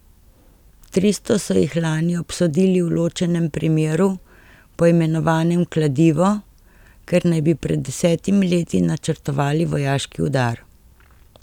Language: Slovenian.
Tristo so jih lani obsodili v ločenem primeru, poimenovanem Kladivo, ker naj bi pred desetimi leti načrtovali vojaški udar.